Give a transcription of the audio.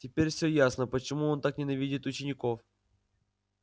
теперь всё ясно почему он так ненавидит учеников